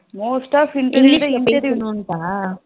Most ஆ interview ல